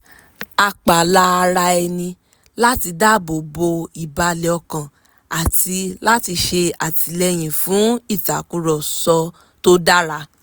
a pààlà ara ẹni láti dáàbò bo ìbàlẹ̀ ọkàn àti láti ṣe àtìlẹyìn fún ìtàkùrọ̀sọ tó dára